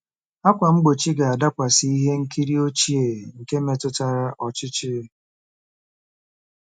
ákwà mgbochi ga-adakwasị ihe nkiri ochie nke metụtara ọchịchị.